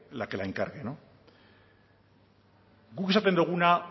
la que la encargue no guk esaten duguna